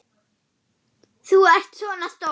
Þú ert svo stór.